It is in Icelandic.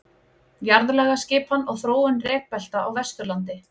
Jarðlagaskipan og þróun rekbelta á Vesturlandi.